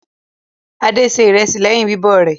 Adé se ìrẹsì lẹ́yìn bíbọ̀ rẹ̀.